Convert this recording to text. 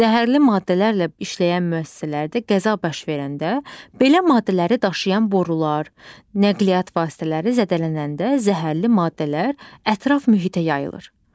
Zəhərli maddələrlə işləyən müəssisələrdə qəza baş verəndə, belə maddələri daşıyan borular, nəqliyyat vasitələri zədələnəndə zəhərli maddələr ətraf mühitə yayılır.